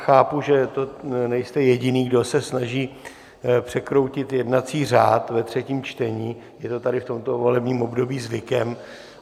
Chápu, že nejste jediný, kdo se snaží překroutit jednací řád ve třetím čtení, je to tady v tomto volebním období zvykem.